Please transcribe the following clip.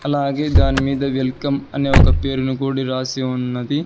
అలాగే దాని మీద వెల్కం అని ఒక పేరును కూడా రాసి ఉన్నది.